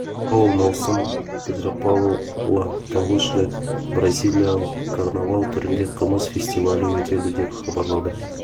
петропавл маусым петропавла тұңғыш рет бразилиялық карнавал түрінде қымыз фестивалі өтеді деп хабарлады